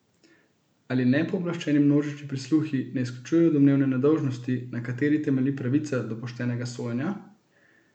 Ali nepooblaščeni množični prisluhi ne izključujejo domneve nedolžnosti, na kateri temelji pravica do poštenega sojenja?